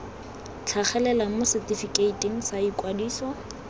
tlhagelela mo setefikeiting sa ikwadiso